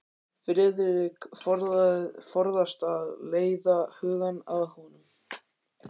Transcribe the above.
Friðrik forðast að leiða hugann að honum.